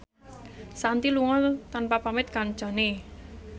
Shanti lunga tanpa pamit kancane